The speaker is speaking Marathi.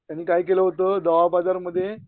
त्यांनी काय केल होत दहा हझारमध्ये